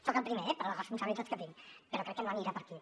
soc el primer per les responsabilitats que tinc però crec que no anirà per aquí